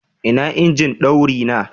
Ina injin daurina?